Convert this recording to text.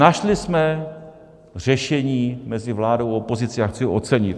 Našli jsme řešení mezi vládou a opozicí a chci ho ocenit.